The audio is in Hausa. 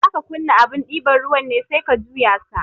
Zaka kunna abun ɗiban ruwan ne sai ka juya sa